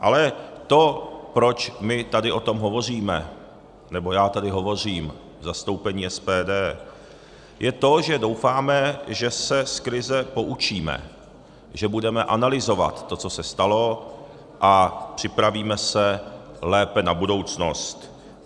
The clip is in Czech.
Ale to, proč my tady o tom hovoříme, nebo já tady hovořím v zastoupení SPD, je to, že doufáme, že se z krize poučíme, že budeme analyzovat to, co se stalo, a připravíme se lépe na budoucnost.